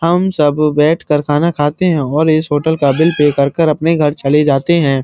हम सब बैठकर खाना खाते हो इस होटल का बिल पे कर कर हम कर चले जाते हैं।